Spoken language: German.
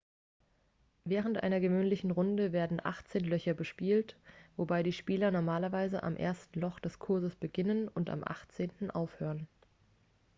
während einer gewöhnlichen runde werden achtzehn löcher bespielt wobei die spieler normalerweise am ersten loch des kurses beginnen und am achtzehnten aufhören